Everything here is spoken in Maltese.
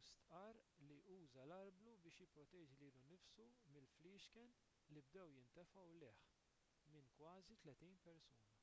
u stqarr li uża l-arblu biex jipproteġi lilu nnifsu mill-fliexken li bdew jintefgħu lejh minn kważi tletin persuna